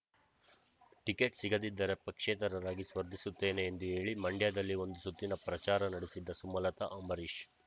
ticket ಸಿಗದಿದ್ದರೆ ಪಕ್ಷೇತರರಾಗಿ ಸ್ಪರ್ಧಿಸುತ್ತೇನೆ ಎಂದು ಹೇಳಿ ಮಂಡ್ಯದಲ್ಲಿ ಒಂದು ಸುತ್ತಿನ ಪ್ರಚಾರ ನಡೆಸಿದ್ದ ಸುಮಲತಾ ಅಂಬರೀಷ್